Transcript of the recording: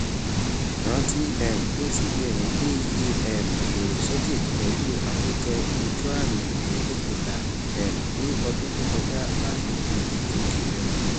rántí um pé cbn gbé ìyè um èrè sókè pẹlú àkójọ ojuami ẹẹdẹgbẹta um ní ọdún tó kọjá láti dí ìgòkè rẹ